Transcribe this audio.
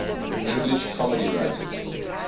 english comedy writers